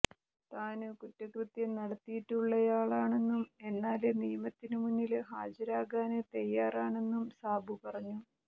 താന് കുറ്റകൃത്യം നടത്തിയിട്ടുള്ളയാളാണെന്നും എന്നാല് നിയമത്തിന് മുന്നില് ഹാജരാകാന് തയ്യാറാണെന്നും സാബു പറഞ്ഞു